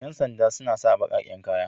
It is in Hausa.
Ƴan snda suna sa baƙaƙen kaya.